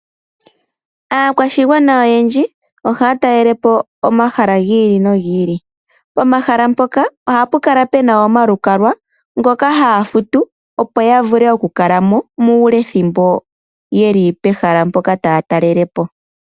Aakwashigwana oyendji oha ya talele po omahala gi li nogi li. Pomahala mpoka oha pu kala pena omalukalwa ngoka haya futu opo ya vule oku kala mo mulethimbo ye li pehala mboka taya talele po.